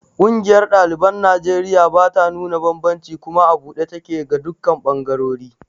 Ƙungiyar ɗaliban Najeriya bata nuna banbanci kuma a buɗe take ga dukkan ɓangarori.